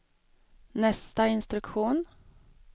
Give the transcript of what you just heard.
nästa instruktion